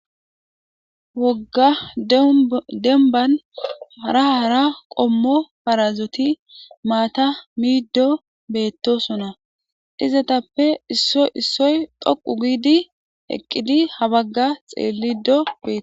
wogga demban hara hara qommo parazoti maata miiddo beettosona izetappe issoy issoy dhoqu giidi eqqidi habagga xeellido beeto